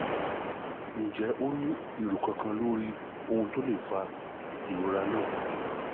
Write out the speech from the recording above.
ǹjẹ́ o ní èrò kankan lórí ohun to le fa ìrora náà?